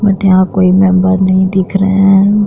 But यहा कोई member नहीं दिख रहे हैं।